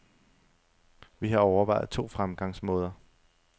Vi har overvejet to fremgangsmåder.